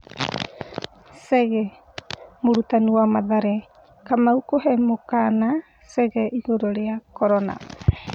Chege : Mũrutani wa Mathare Kamau kũhe mũkana Chege ĩgũrũ rĩa Korona.